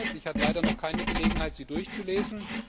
Ich hatte leider noch keine Gelegenheit, sie durchzulesen.